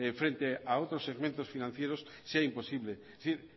frente a otros segmentos financieros sea imposible es decir